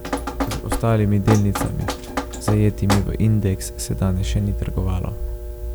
Z ostalimi delnicami, zajetimi v indeks, se danes še ni trgovalo.